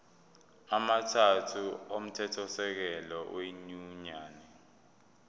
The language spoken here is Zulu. amathathu omthethosisekelo wenyunyane